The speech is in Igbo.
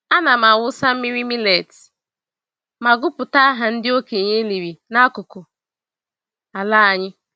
Ana m awụsa mmiri millet ma gụpụta aha ndị okenye e liri n'akụkụ ala anyị.